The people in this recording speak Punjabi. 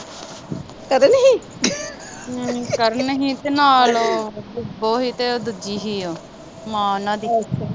ਕਰਨ ਹੀ ਤੇ ਨਾਲ ਉਹ ਕੁਬੋ ਹੀ ਤੇ ਦੂਜੀ ਹੀ ਓ ਮਾਂ ਓਹਨਾ ਦੀ